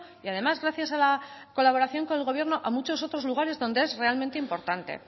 y además gracias a la colaboración del gobierno a otros muchos lugares donde es realmente importante